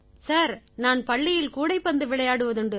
sir நான் பள்ளியில் கூடைப்பந்து விளையாடுவதுண்டு